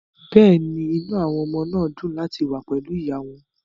Bẹ́ẹ̀ ni, inú àwọn ọmọ dùn láti wà pẹ̀lú ìyá wọn